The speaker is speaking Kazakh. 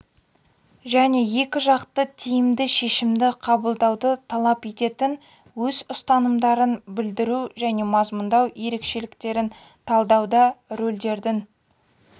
және екіжақты тиімді шешімді қабылдауды талап ететін өз ұстанымдарын білдіру және мазмұндау ерекшеліктерін талдауда рөлдердің